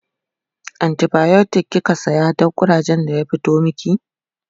antibiotic kika saya Dan kurajen da ya fito maki?